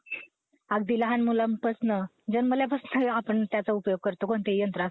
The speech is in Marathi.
Hello!